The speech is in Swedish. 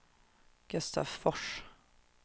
Gustavsfors